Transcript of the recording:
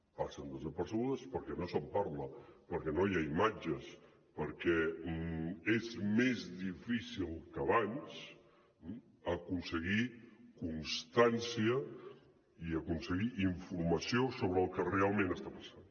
passen desapercebudes perquè no se’n parla perquè no hi ha imatges perquè és més difícil que abans eh aconseguir constància i aconseguir informació sobre el que realment està passant